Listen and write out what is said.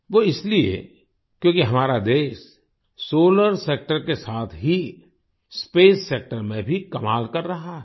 वो इसलिए क्योंकि हमारा देश सोलार सेक्टर के साथ ही स्पेस सेक्टर में भी कमाल कर रहा है